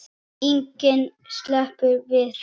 Enginn sleppur við það.